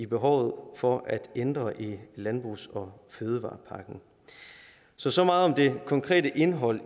behov for at ændre i landbrugs og fødevarepakken så så meget om det konkrete indhold